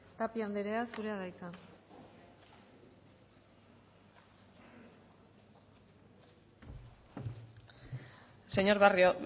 tapia andrea zurea da hitza señor barrio